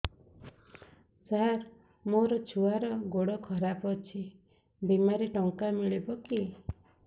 ସାର ମୋର ଛୁଆର ଗୋଡ ଖରାପ ଅଛି ବିମାରେ ଟଙ୍କା ମିଳିବ କି